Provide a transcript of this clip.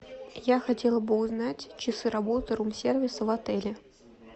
я хотела бы узнать часы работы рум сервиса в отеле